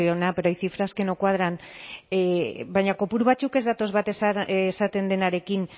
azpiazu jauna pero hay cifras que no cuadran baina kopuru batzuk ez datoz bat esaten denarekin